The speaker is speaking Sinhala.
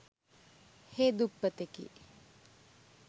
හේ දුප්පතෙකි.